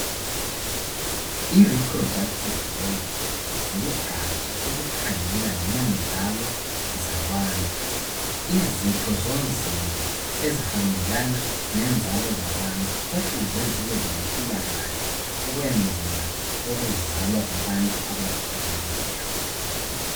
I" reproductive health " lugaja olukhangela ngenzalo zabantu. Izitho zomzimba ezihambelana lenzalo zabantu kufuze zibelempilakahle ukwenzela ukuzalwa kwabantu abaphilileyo.